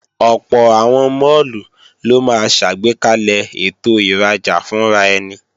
Ọ̀pọ̀ àwọn máàlù ló máa ṣàgbékalẹ̀ ètò ìrajà fúnraẹni